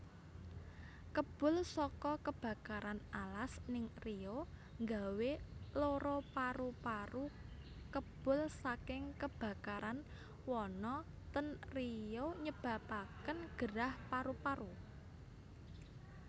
Kebul soko kebakaran alas ning Riau nggawe loro paru paru Kebul saking kebakaran wana ten Riau nyebabaken gerah paru paru